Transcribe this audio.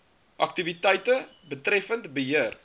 aktiwiteite betreffend beheer